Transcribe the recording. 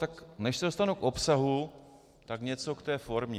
Tak než se dostanu k obsahu, tak něco k té formě.